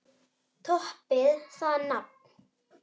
Toppið það nafn!